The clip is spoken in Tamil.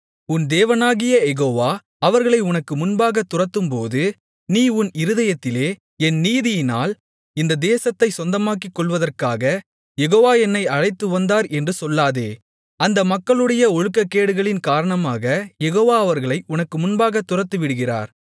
உன் தேவனாகிய யெகோவா அவர்களை உனக்கு முன்பாகத் துரத்தும்போது நீ உன் இருதயத்திலே என் நீதியினால் இந்த தேசத்தைச் சொந்தமாக்கிக்கொள்வதற்காக யெகோவா என்னை அழைத்துவந்தார் என்று சொல்லாதே அந்த மக்களுடைய ஒழுக்கக்கேடுகளின் காரணமாக யெகோவா அவர்களை உனக்கு முன்பாகத் துரத்திவிடுகிறார்